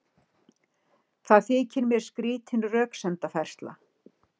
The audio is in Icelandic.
Það þykir mér skrýtin röksemdafærsla.